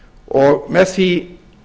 og með því